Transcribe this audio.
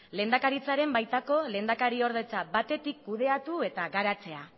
lehendakaritzaren baitako lehendakariordetza batetik kudeatu eta garatzea